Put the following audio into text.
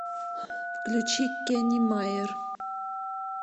включи кеннимайер